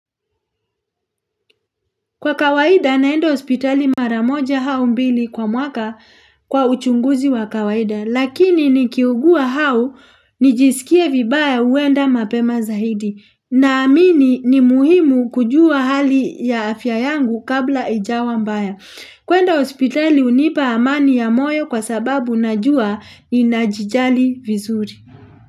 Kwa kawaida naenda ospitali maramoja hau mbili kwa mwaka kwa uchunguzi wa kawaida Lakini nikiugua hau nijisikie vibaya uenda mapema zaidi na amini ni muhimu kujua hali ya afya yangu kabla ijawa mbaya kwenda ospitali unipa amani ya moyo kwa sababu najua inajijali vizuri.